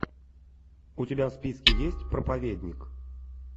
у тебя в списке есть проповедник